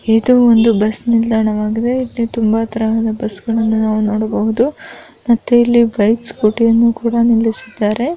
ಇದು ಒಂದು ಬಸ್ ನಿಲ್ದಾಣವಾಗಿದೆ ಇಲ್ಲಿ ತುಂಬಾ ತರಹದ ಬಸ್ ಗಳನ್ನು ನಾವು ನೋಡಬಹುದು ಮತ್ತೆ ಇಲ್ಲಿ ಬೈಕ್ ಸ್ಕೂಟಿಯನ್ನು ಕೂಡ ನಿಲ್ಲಿಸಿದ್ದಾರೆ.